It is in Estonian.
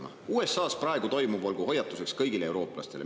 "USAs praegu toimuv olgu hoiatuseks kõigile eurooplastele.